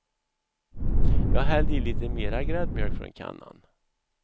Jag hällde i lite mera gräddmjölk från kannan.